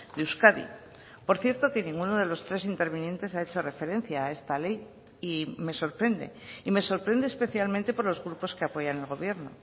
de euskadi por cierto que ninguno de los tres intervinientes ha hecho referencia a esta ley y me sorprende y me sorprende especialmente por los grupos que apoyan al gobierno